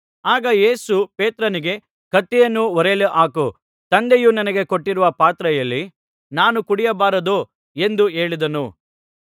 ಆಗ ಯೇಸು ಪೇತ್ರನಿಗೆ ಕತ್ತಿಯನ್ನು ಒರೆಯಲ್ಲಿ ಹಾಕು ತಂದೆಯು ನನಗೆ ಕೊಟ್ಟಿರುವ ಪಾತ್ರೆಯಲ್ಲಿ ನಾನು ಕುಡಿಯಬಾರದೋ ಎಂದು ಹೇಳಿದನು